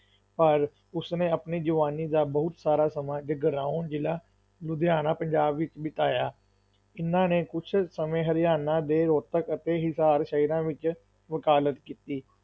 ਪਰ ਉਸਨੇ ਆਪਣੀ ਜਵਾਨੀ ਦਾ ਬਹੁਤ ਸਾਰਾ ਸਮਾਂ ਜਗਰਾਉਂ, ਜ਼ਿਲ੍ਹਾ ਲੁਧਿਆਣਾ, ਪੰਜਾਬ ਵਿੱਚ ਬਿਤਾਇਆ, ਇਨ੍ਹਾਂ ਨੇ ਕੁੱਝ ਸਮੇਂ ਹਰਿਆਣਾ ਦੇ ਰੋਹਤਕ ਅਤੇ ਹਿਸਾਰ ਸ਼ਹਿਰਾਂ ਵਿੱਚ ਵਕਾਲਤ ਕੀਤੀ।